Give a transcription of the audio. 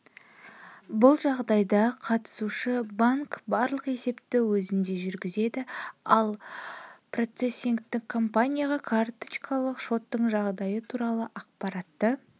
бұл жағдайда қатысушы банк барлық есепті өзінде жүргізеді ал процессингтік компанияға карточкалық шоттың жағдайы туралы ақпаратты